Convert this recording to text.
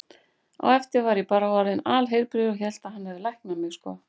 Á eftir var ég bara orðinn alheilbrigður og hélt að hann hefði læknað mig, sko.